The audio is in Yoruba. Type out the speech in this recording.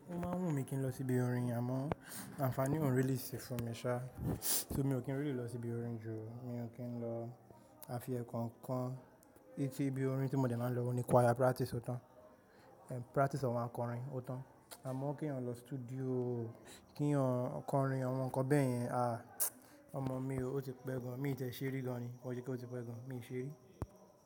Ó máa ń wú mi kí n lọ síbi irin, àmọ́ àǹfààní òún rí lìì si fún mi ṣá, so mi ò kí ń rí lìì lọ síbi orin jù ó, mi ò kí ń lọ àfi ẹ̀ kankan. Eti ibi orin tí mo dẹ̀ máa ń lọ òun ní kwaya pratis o tán, pratis awọ́n akọrin o tán. Àmọ́ kí èèyàn lọ studio kí èèyàn kọrin àwọn nǹkan bẹ́ẹ̀ yẹn, à, ọmọ mi ó o ti pẹ́ gan, mi ò ti ẹ̀ ṣe ri gan ní, ko n ṣe pé ó ti pẹ́ gan, mi ò ṣe ri.